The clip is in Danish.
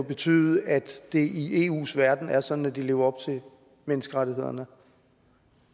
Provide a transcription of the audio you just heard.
betyde at det i eus verden er sådan at de lever op til menneskerettighederne